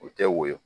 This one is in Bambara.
U tɛ woyo